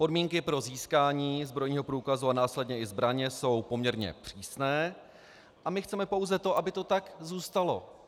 Podmínky pro získání zbrojního průkazu a následně i zbraně jsou poměrně přísné a my chceme pouze to, aby to tak zůstalo.